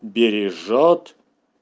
бережёт